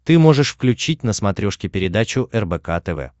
ты можешь включить на смотрешке передачу рбк тв